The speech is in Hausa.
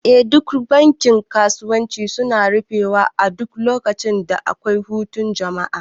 Eh duk bankin kasuwanci suna rufe wa duk lokacin da akwai hutun jama'a